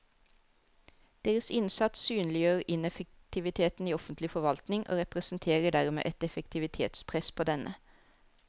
Deres innsats synliggjør ineffektiviteten i offentlig forvaltning og representerer dermed et effektivitetspress på denne.